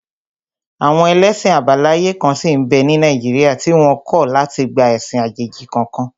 Àwọn ẹlẹ́sìn àbáláyé kan sí n bẹ́ ní Nàìjíríà tí wọ́n kọ̀ láti gba ẹ̀sìn àjèjì kankan